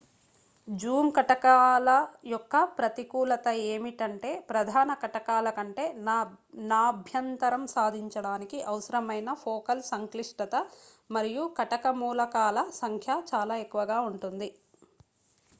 Zoom కటకాల యొక్క ప్రతికూలత ఏమిటంటే ప్రధాన కటకాల కంటే నాభ్యంతరం సాధించడానికి అవసరమైన ఫోకల్ సంక్లిష్టత మరియు కటక మూలకాల సంఖ్య చాలా ఎక్కువగా ఉంటుంది